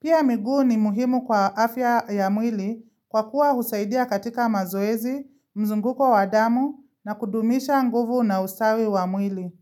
Pia mguu ni muhimu kwa afya ya mwili kwa kuwa husaidia katika mazoezi, mzunguko wa damu na kudumisha nguvu na ustawi wa mwili.